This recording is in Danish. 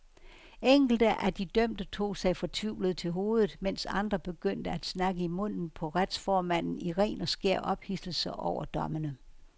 Enkelte af de dømte tog sig fortvivlet til hovedet, mens andre begyndte at snakke i munden på retsformanden i ren og skær ophidselse over dommene.